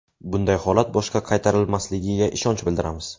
Bunday holat boshqa qaytarilmasligiga ishonch bildiramiz.